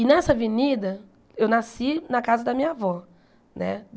E nessa avenida, eu nasci na casa da minha avó, né?